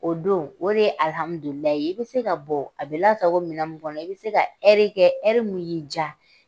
O don o de ye ye i bɛ se ka bɔ a bɛ lasago minɛn min kɔnɔ i bɛ se ka kɛ min y'i diya